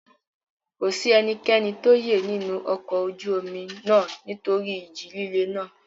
Kò sí ẹnikẹ́ni tó yè nínú ọkọ ojú omi náà nítorí ìjì líle náà.